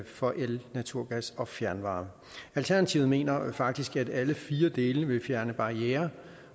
for el naturgas og fjernvarme alternativet mener faktisk at alle fire dele vil fjerne barrierer